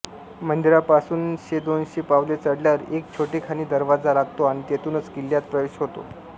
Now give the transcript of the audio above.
मंदिरापासून शेदोनशे पावले चढल्यावर एक छोटेखानी दरवाजा लागतो आणि तेथूनच किल्ल्यात प्रवेश होतो